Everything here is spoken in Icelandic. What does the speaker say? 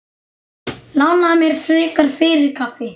Lánaðu mér frekar fyrir kaffi.